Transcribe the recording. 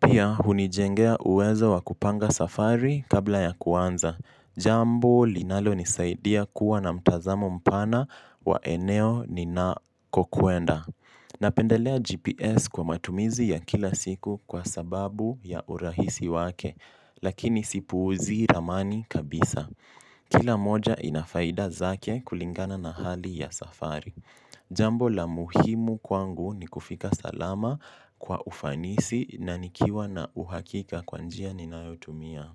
Pia hunijengea uwezo wakupanga safari kabla ya kuanza. Jambo linalo nisaidia kuwa na mtazamo mpana wa eneo ni na kokuenda. Napendelea GPS kwa matumizi ya kila siku kwa sababu ya urahisi wake, lakini sipuuzi ramani kabisa. Kila moja inafaida zake kulingana na hali ya safari. Jambo la muhimu kwangu ni kufika salama kwa ufanisi na nikiwa na uhakika kwanjia ninayotumia.